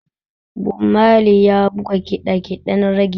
Bob Mali ya buga ƙiɗa ƙiɗen rege.